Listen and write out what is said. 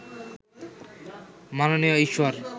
মাননীয় ঈশ্বর